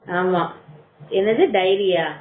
ஆமா என்னது டைரியா